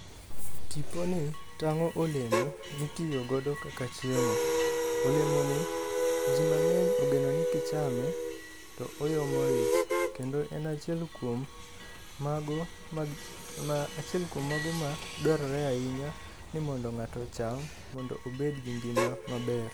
Tiponi tang'o olemo mitiyo godo kaka chiemo. Olemoni ji mang'eny ogeno ni kichame to oyomo ich kendo en achiel kuom mago ma achiel kuom mago ma dwarore ahinya ni mondo ng'ato ocham mondo obed gi ngima maber.